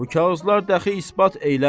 Bu kağızlar dəxi isbat eylər.